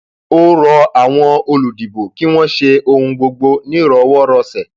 ó rọ àwọn olùdìbò kí wọn ṣe ohun gbogbo nírọwọrọsẹ